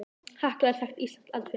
Hekla er þekkt íslenskt eldfjall.